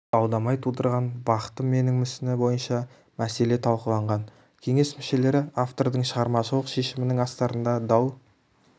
дау-дамай тудырған бақытым менің мүсіні бойынша мәселе талқыланған кеңес мүшелері автордың шығармашылық шешімінің астарында дау